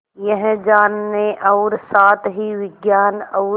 यह जानने और साथ ही विज्ञान और